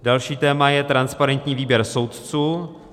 Další téma je transparentní výběr soudců.